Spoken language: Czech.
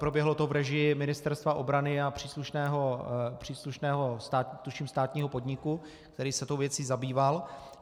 Proběhlo to v režii Ministerstva obrany a příslušného tuším státního podniku, který se tou věcí zabýval.